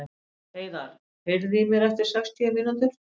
Heiðar, heyrðu í mér eftir sextíu mínútur.